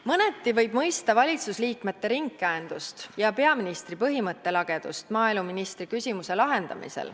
Mõneti võib mõista valitsuse liikmete ringkäendust ja peaministri põhimõttelagedust maaeluministri küsimuse lahendamisel.